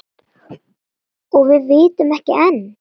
Og vitum ekki enn.